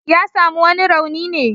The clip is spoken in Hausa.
Ya sami wani rauni ne?